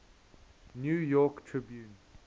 new york tribune